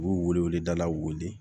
U b'u wele weleda la weele